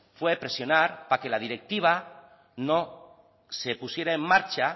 fue presionar para que la directiva no se pusiera en marcha